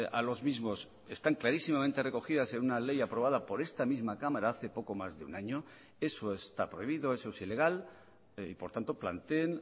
a los mismos están clarísimamente recogidas en una ley aprobada por esta misma cámara hace poco más de un año eso está prohibido eso es ilegal y por tanto planteen